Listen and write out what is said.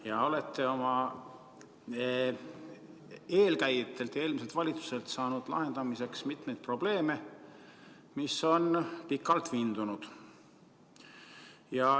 Te olete oma eelkäijatelt, eelmiselt valitsuselt saanud lahendamiseks mitmeid probleeme, mis on pikalt vindunud.